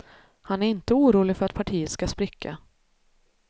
Han är inte orolig för att partiet ska spricka.